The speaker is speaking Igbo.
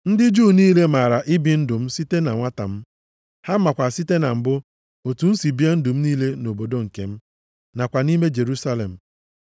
“Ndị Juu niile maara ibi ndụ m site na nwata m. Ha makwa site na mbụ, otu m si bie ndụ m niile nʼobodo nke m, nakwa nʼime Jerusalem.